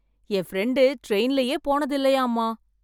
என் friend ட்ரெய்ன்லயே போனது இல்லையாமா.